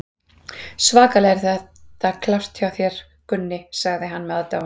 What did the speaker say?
Svakalega er þetta klárt hjá þér, Gunni, sagði hann með aðdáun.